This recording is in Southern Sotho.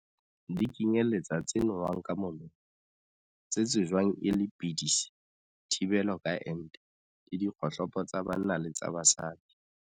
Di kenyeletsa tse nowang ka molomo, tse tsejwang e le pidisi, thibelo ka ente, le dikgohlopo tsa banna le tsa basadi.